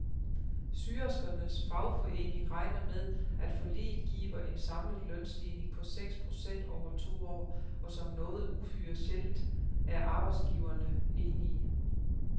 Syerskernes fagforening regner med, at forliget giver en samlet lønstigning på seks procent over to år, og som noget uhyre sjældent er arbejdsgiverne enige.